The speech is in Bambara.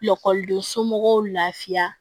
Lakɔliden somɔgɔw lafiya